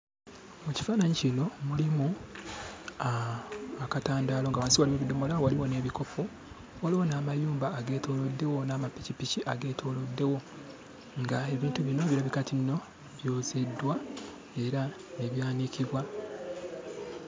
Mu kifaananyi kino mulimu akatandaalo, nga wansi waliyo ebidomola, waliwo n'ebikopo. Waliwo n'amayumba ageetooloddewo n'amapikipiki ageetooloddewo, ng'ebintu bino birabika nti nno byozeddwa era ne byanikibwa.